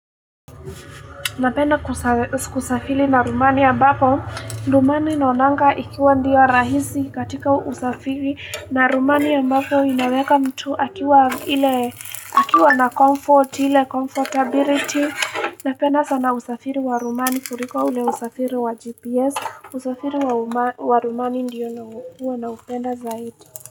Napenda kusafiri na ramani ya ambapo. Ramani naonanga ikiwa ndiyo rahisi katika usafiri. Na rmani ya ambapo inaweka mtu akiwa na comfort, ile comfortability. Napenda sana usafiri wa ramani kuliko ule usafiri wa GPS. Usafiri wa ramani ndiyo huwa naupenda zaidi.